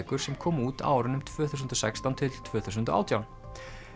sem komu út á árunum tvö þúsund og sextán til tvö þúsund og átján